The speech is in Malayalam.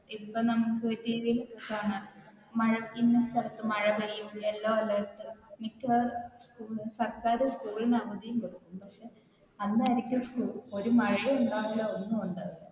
ഇപ്പൊ നമുക്ക് TV കാണാം ഒരു ഇന്ന സ്ഥലത്തു മഴ പെയ്യും yellow alert സർക്കാർ school ന് അവധിയുണ്ട് അന്നായിരിക്കും ഒരു മഴയും ഉണ്ടാവില്ല ഒന്നുമുണ്ടാവില്ല.